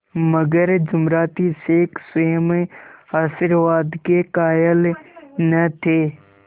मगर जुमराती शेख स्वयं आशीर्वाद के कायल न थे